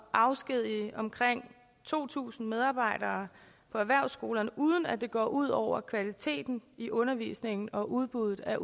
afskedige omkring to tusind medarbejdere på erhvervsskolerne uden at det går ud over kvaliteten i undervisningen og udbuddet af